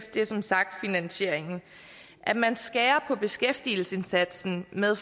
er som sagt finansieringen at man skærer på beskæftigelsesindsatsen med